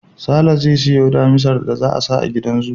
Sale zai siyo Damisar da za a sa a gidan zoo